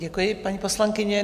Děkuji, paní poslankyně.